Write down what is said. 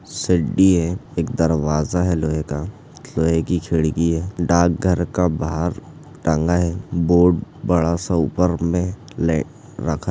शड्डी है एक दरवाजा है लोहे का लोहे की खिड़की है डाकघर का बाहर टंगा है बोर्ड बड़ा सा ऊपर में ले रखा है।